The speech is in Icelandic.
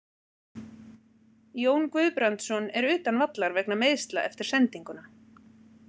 Jón Guðbrandsson er utan vallar vegna meiðsla eftir sendinguna.